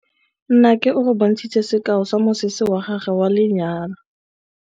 Nnake o re bontshitse sekaô sa mosese wa gagwe wa lenyalo.